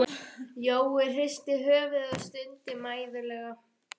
Jói hristi höfuðið og stundi mæðulega.